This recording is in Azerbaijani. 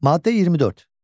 Maddə 24.